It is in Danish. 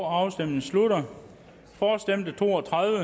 afstemningen slutter for stemte to og tredive